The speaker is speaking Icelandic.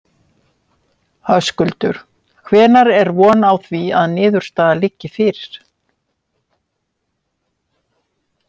Höskuldur: Hvenær er von á því að niðurstaða liggi fyrir?